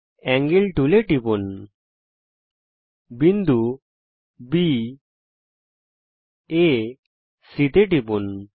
angle টুলে টিপুন বিন্দু বি আ C তে টিপুন